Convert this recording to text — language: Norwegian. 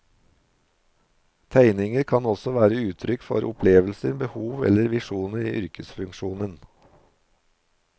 Tegninger kan også være uttrykk for opplevelser, behov eller visjoner i yrkesfunksjonen.